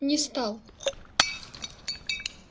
не стал